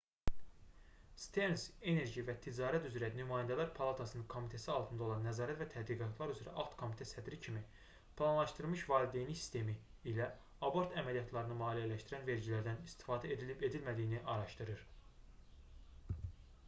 sterns enerji və ticarət üzrə nümayəndələr palatasının komitəsi altında olan nəzarət və tədqiqatlar üzrə alt-komitə sədri kimi planlaşdırılmış valideynlik sistemi ilə abort əməliyyatlarını maliyyələşdirən vergilərdən istifadə edilib-edilmədiyini araşdırır